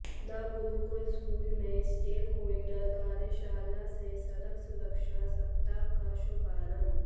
the Gurukul school में stakeholder कार्यशाला से सड़क सुरक्षा सप्ताह का शुभारंभ